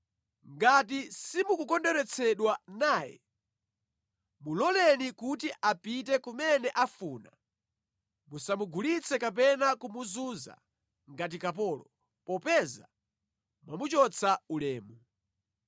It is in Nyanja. Ngati simukukondweretsedwa naye, muloleni kuti apite kumene afuna. Musamugulitse kapena kumuzunza ngati kapolo, popeza mwamuchotsa ulemu.